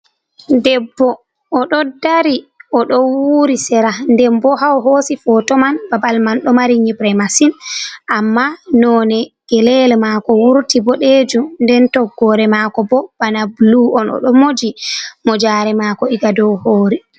'Debbo o d'o dari; od'o wuuri sera. 'Denboo ha o hoosi foto man babal man do mari nyibre masin amma nond'e gele mako wurti bodeju; d'en toggore mako bo bana buluu on o d'o moji mojare mako iga dow hore.